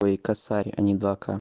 ой и косарь а не два к